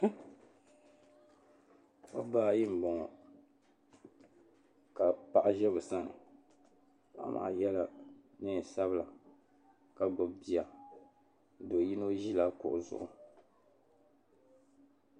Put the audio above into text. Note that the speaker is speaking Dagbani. Niriba n-laɣisi ʒiya niriba maa puuni shɛba yela liiga chichɛra ka shɛba nyɛ ban tabi bɛ nyee ka du'karili ʒiya m-baɣi niriba ŋɔ niriba ŋɔ nyɛla ban galisi pam bɛ puuni so pilila zipili piɛlli.